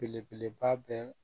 Belebeleba bɛ